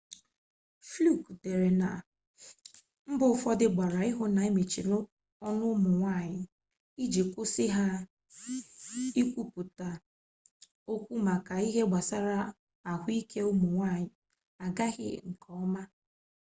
fluke dere na mbo ufodu gbara ihu na emechiri onu umunwanyi iji kwusi ha ikwuputa okwu maka ihe gbasara ahuike umu nwanyi agaghi nkeoma